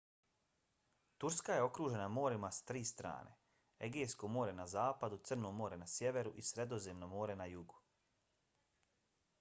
turska je okružena morima s tri strane: egejsko more na zapadu crno more na sjeveru i sredozemno more na jugu